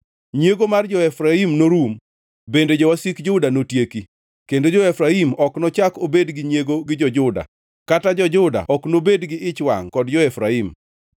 Nyiego mar jo-Efraim norum bende jowasik Juda notieki; kendo jo-Efraim ok nochak obed gi nyiego gi jo-Juda, kata jo-Juda ok nobed gi ich wangʼ kod jo-Efraim.